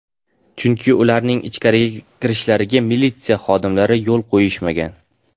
Chunki ularning ichkariga kirishlariga militsiya xodimlari yo‘l qo‘yishmagan.